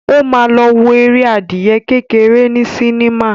Ó ma lọ wo eré adìyẹ kékeré ní sinimá.